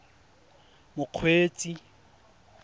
mokgweetsi